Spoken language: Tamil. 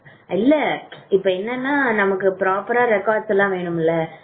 இல்ல இப்போ என்னன்னா நமக்கு proper records எல்லாம் வேணும்ல experience certificate